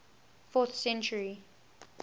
fourth century